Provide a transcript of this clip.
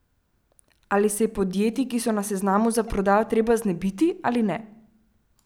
Ali se je podjetij, ki so na seznamu za prodajo, treba znebiti ali ne?